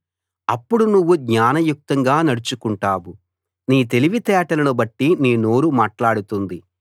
అప్పుడు నువ్వు జ్ఞానయుక్తంగా నడుచుకుంటావు నీ తెలివితేటలను బట్టి నీ నోరు మాట్లాడుతుంది